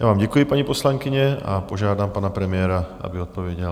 Já vám děkuji, paní poslankyně, a požádám pana premiéra, aby odpověděl.